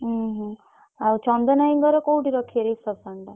ହୁଁ ହୁଁ ଆଉ ଚନ୍ଦନ୍ ଭାଇଙ୍କର କୋଉଠି ରଖିବେ reception ଟା?